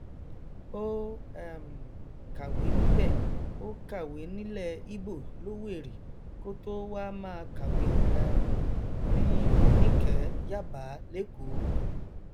ó um kàwé níbẹ ó kàwé nílẹ ibo lówẹrì kó tóo wáá máa kàwé um ní onikee yabbā lẹkọọ